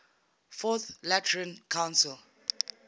fourth lateran council